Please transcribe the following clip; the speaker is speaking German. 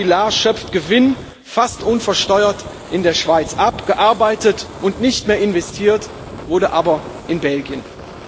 Caterpillar schöpft Gewinn fast unversteuert in der Schweiz ab, gearbeitet und nicht mehr investiert wurde aber in Belgien.